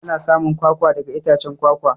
Ana samun kwakwa daga itacen kwakwa.